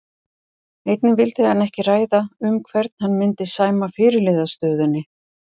Einnig vildi hann ekki ræða um hvern hann myndi sæma fyrirliðastöðunni.